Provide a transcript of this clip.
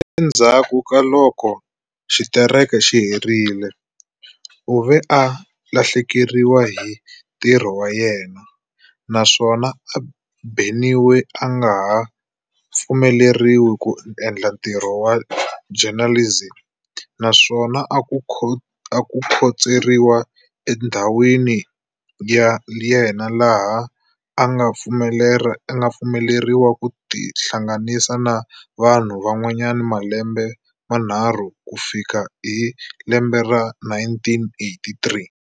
Endzhaku ka loko xitereka xi herile, u ve a lahlekeriwa hi ntirho wa yena, na swona a beniwa a nga ha pfumeleriwi ku endla ntirho wa journalism, naswona a khotseriwa endlwini ya yena laha a nga pfumeleriwi ku tihlanganisa na vanhu van'wana malembe manharu ku fikela hi lembe ra 1983.